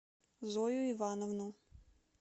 зою ивановну